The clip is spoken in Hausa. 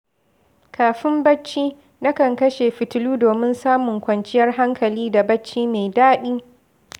Kafin barci, nakan kashe fitilu domin samun kwanciyar hankali da bacci mai daɗi.